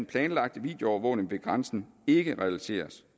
planlagte videoovervågning ved grænsen ikke realiseres